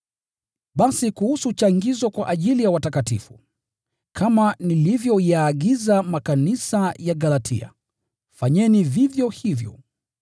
Basi kuhusu changizo kwa ajili ya watakatifu: Kama nilivyoyaagiza makanisa ya Galatia, fanyeni vivyo hivyo.